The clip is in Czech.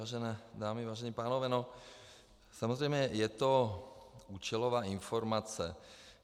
Vážené dámy, vážení pánové, samozřejmě je to účelová informace.